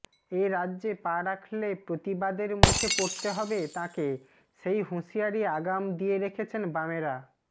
এ রাজ্যে পা রাখলে প্রতিবাদের মুখে পড়তে হবে তাঁকে সেই হুঁশিয়ারি আগাম দিয়ে রেখেছেন বামেরা